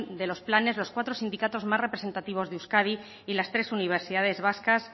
de los planos los cuatro sindicatos más representativos de euskadi y las tres universidades vascas